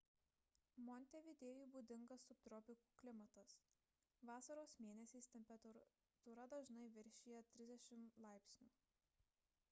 montevidėjui būdingas subtropikų klimatas vasaros mėnesiais temperatūra dažnai viršija +30 °c